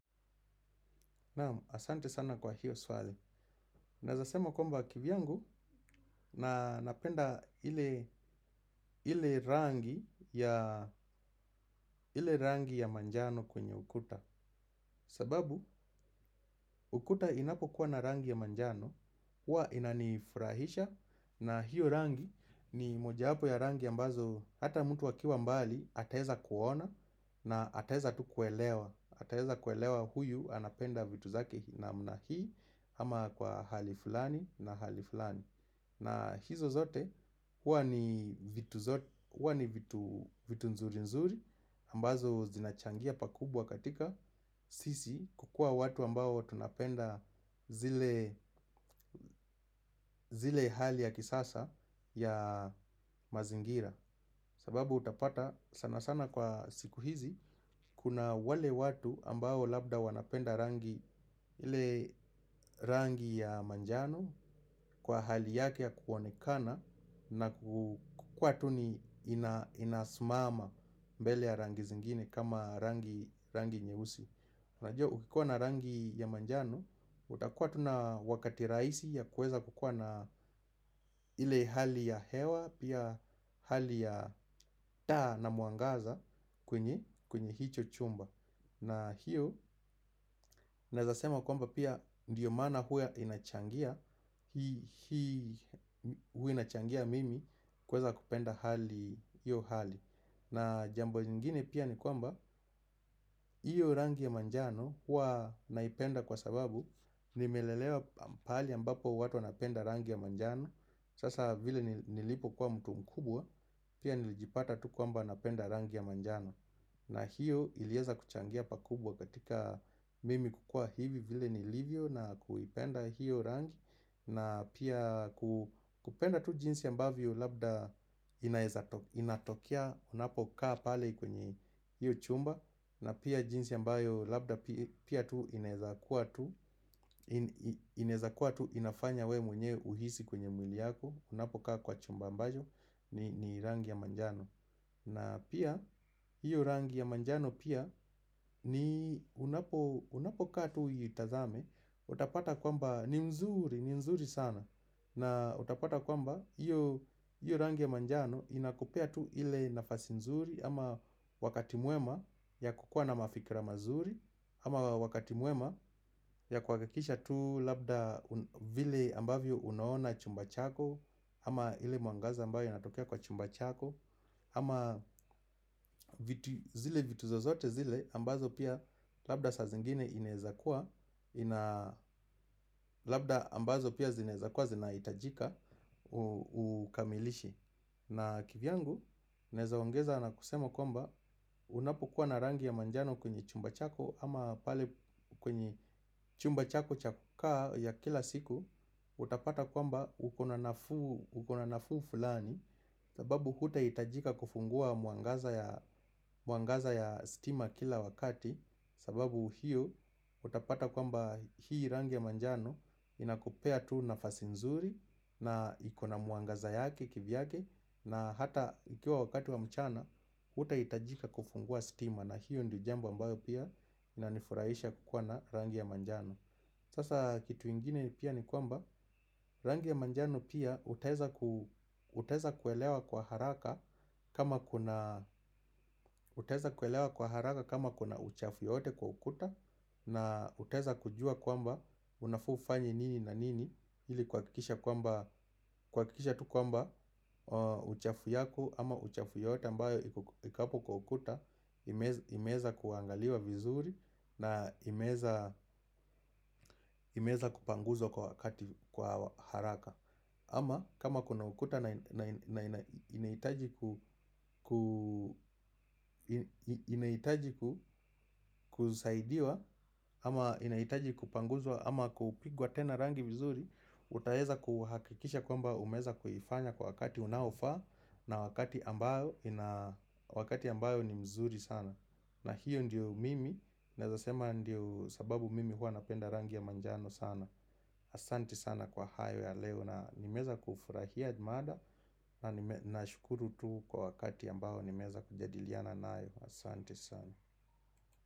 Ahsante sana kwa hiyo swali. Naeza sema kwamba kivyangu napenda ile rangi ya manjano kwenye ukuta sababu ukuta inapo kuwa na rangi ya manjano, huwa inanifurahisha na hiyo rangi ni mojawapo ya rangi ambazo hata mtu akiwa mbali ataeza kuona na ataeza tu kuelewa. Ataeza kuelewa huyu anapenda vitu zake namna hii ama kwa hali fulani na hali fulani. Na hizo zote hua ni vitu nzuri nzuri ambazo zinachangia pakubwa katika sisi kukua watu ambao tunapenda zile hali ya kisasa ya mazingira. Sababu utapata sana sana kwa siku hizi kuna wale watu ambao labda wanapenda rangi ile rangi ya manjano kwa hali yake ya kuoanekana na kukua tu ni inasimama mbele ya rangi zingine kama rangi nyeusi. Najuwa ukikuwa na rangi ya manjano, utakua tu na wakati rahisi ya kueza kukua na ile hali ya hewa, pia hali ya taa na mwangaza kwenye hicho chumba. Na hiyo, naeza sema kwamba pia ndiyo maana huwa inachangia, huwa inachangia mimi kueza kupenda hiyo hali. Na jambo lingine pia ni kwamba, hiyo rangi ya manjano huwa naipenda kwa sababu nimelelewa pahali ambapo watu wanapenda rangi ya manjano. Sasa vile nilipo kuwa mtu mkubwa, pia nilijipata tu kwamba napenda rangi ya manjano. Na hiyo ilieza kuchangia pakubwa katika mimi kukua hivi vile nilivyo na kuipenda hiyo rangi. Na pia kupenda tu jinsi ambavyo labda inatokea. Unapo kaa pale kwenye hiyo chumba na pia jinsi ambayo labda pia tu inaezakua tu. Inaezakua tu inafanya wewe mwenyewe uhisi kwenye mwili yako. Unapo kaa kwa chumba ambacho ni rangi ya manjano. Na pia hiyo rangi ya manjano pia unapo kaa tu uitazame utapata kwamba ni mzuri, ni mzuri sana. Na utapata kwamba hiyo rangi ya manjano inakupea tu ile nafasi mzuri ama wakati mwema ya kukua na mafikra mazuri ama wakati mwema ya kuhakakisha tu labda vile ambavyo unaona chumba chako ama ile mwangaza ambayo inatokea kwa chumba chako ama zile vitu zozote zile ambazo pia labda saa zingine inaeza kuwa labda ambazo pia zinaeza kwa zina hitajika. Ukamilishe. Na kivyangu, naeza ongeza na kusema kwamba unapokuwa na rangi ya manjano kwenye chumba chako ama pale kwenye chumba chako cha kukaa ya kila siku utapata kwamba uko na nafuu fulani. Sababu hutahitajika kufungua mwangaza ya stima kila wakati. Sababu hiyo utapata kwamba hii rangi ya manjano inakupea tu nafasi nzuri na ikona mwangaza yake kivyake. Na hata ikiwa wakati wa mchana hutahitajika kufungua stima na hiyo ndo jambo ambayo pia inanifurahisha kukuwa na rangi ya manjano. Sasa kitu ingine pia ni kwamba rangi ya manjano pia utaweza kuelewa kwa haraka kama kuna uchafu yoyote kwa ukuta. Na utaweza kujua kwamba unafaa ufanye nini na nini ili kuhakikisha tu kwamba uchafu yako ama uchafu yoyote ambayo iko hapo kwa ukuta ime imeweza kuangaliwa vizuri. Na imeweza imeweza kupanguzwa kwa wakati kwa haraka. Ama kama kuna ukuta na inahitaji kusaidiwa ama inahitaji kupanguzwa ama kupigwa tena rangi vizuri. Utaeza kuhakikisha kwamba umeeza kuifanya kwa wakati unaofaa. Na wakati ambayo ni mzuri sana na hiyo ndiyo mimi, naeza sema ndo sababu mimi hua napenda rangi ya manjano sana. Ahsante sana kwa hayo ya leo na nimeweza kufurahia mada. Na nashukuru tu kwa wakati ambao nimeweza kujadiliana nayo. Ahsante sana.